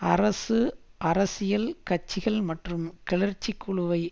அரசு அரசியல் கட்சிகள் மற்றும் கிளர்ச்சி குழுவை